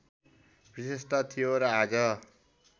विशेषता थियो र आज